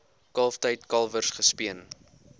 kalftyd kalwers gespeen